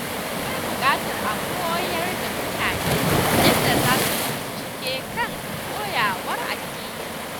Akwai buƙatar a koyar da mutane yadda za su yi bincike kan koyarwar addini.